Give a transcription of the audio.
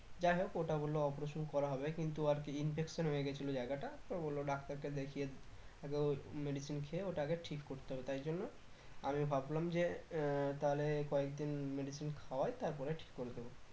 যাই হোক ওটা বললো operation করা হবে কিন্তু আর কি infection হয়ে গেছিলো জায়গাটা তো বললো ডাক্তার কে দেখিয়ে আগে ওই medicine খেয়ে ওটা আগে ঠিক করতে হবে তাই জন্য আমি ভাবলাম যে আহ তাহলে কয়েকদিন medicine খাওয়াই তারপরে ঠিক করে দেব